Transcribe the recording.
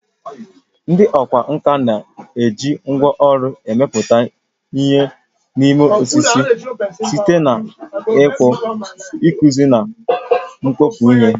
Ndị ọkwá nkà na-eji ngwá ọrụ emepụta ihe n'ime osisi, site na ịkpụ, ịkpụzi, na mkpọpu ihe.